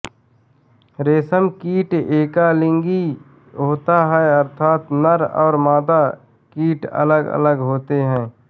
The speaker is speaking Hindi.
रेशम कीट एकलिंगी होता है अर्थात नर और मादा कीट अलगअलग होते हैं